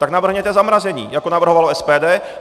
Tak navrhněte zamrazení, jako navrhovalo SPD.